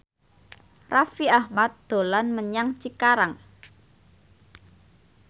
Raffi Ahmad dolan menyang Cikarang